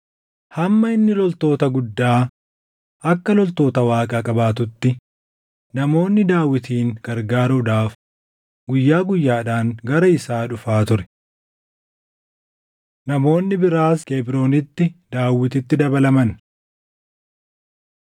Hamma inni loltoota guddaa akka loltoota Waaqaa qabaatutti, namoonni Daawitin gargaaruudhaaf guyyaa guyyaadhaan gara isaa dhufaa ture. Namoonni Biraas Kebroonitti Daawititti Dabalaman